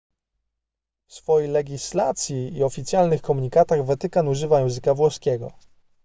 w swojej legislacji i oficjalnych komunikatach watykan używa języka włoskiego